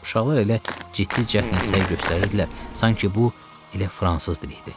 Uşaqlar elə ciddi cəhd nümayiş etdirirdilər, sanki bu elə fransız dili idi.